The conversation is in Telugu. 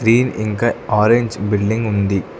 గ్రీన్ ఇంకా ఆరెంజ్ బిల్డింగ్ ఉంది.